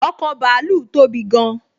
ọkọ̀ bàálù tóbi gán